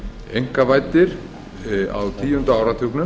einkavæddir á tíunda áratugnum